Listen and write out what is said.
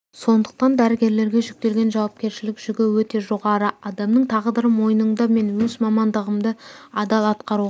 сондықтан дәрігерлерге жүктелген жауапкершілік жүгі өте жоғары адамның тағдыры мойныңда мен өз мамандығымды адал атқаруға